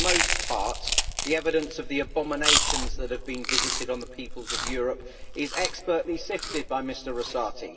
For the most part the evidence of the abominations that have been visited on the peoples of Europe is expertly sifted by Mr Rosati.